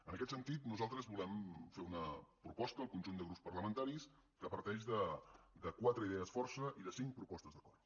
en aquest sentit nosaltres volem fer una proposta al conjunt de grups parlamentaris que parteix de quatre idees força i de cinc propostes d’acord